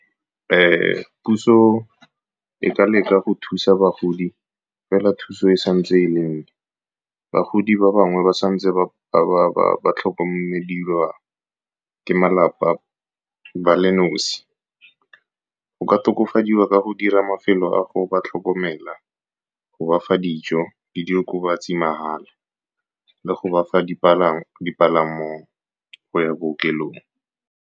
Puso e ka leka go thusa bagodi, fela thuso e santse e le mo go bagodi ba bangwe ba santse ba tlhokomediwa ke malapa ba le nosi. Go ka tokafadiwa ka go dira mafelo a go ba tlhokomela, go bafa dijo le di okobatsi mahala, le go bafa dipalamo go ya bookelong.